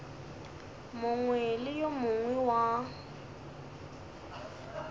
mongwe le yo mongwe wa